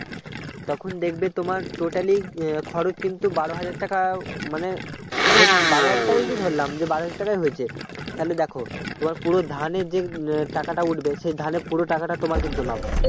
তখন দেখবে তোমার totally খরচ কিন্তু বারো হাজার টাকা মানে হচ্ছে বারো হাজার টাকাই যদি ধরলাম যে বারো হাজার টাকাই হচ্ছে তাহলে দেখো তোমার পুরো ধানের যে টাকাটা উঠবে সেই ধানের পুরোটা টাকাটা তোমার কিন্তু লাভ